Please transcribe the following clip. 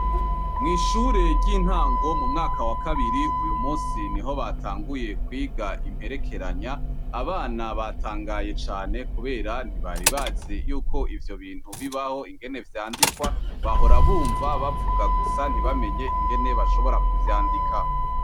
Mw'ishure ry'intango mu mwaka wa kabiri uyu musi niho batanguye kwiga imperekeranya. Abana batangaye cane kubera ntibari bazi yuko ivyo bintu bibaho, ingene vyandikwa. Bahora bumva bavuga gusa ntibamenye ingene bashobora kuvyandika.